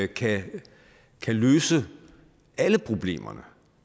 kan kan løse alle problemer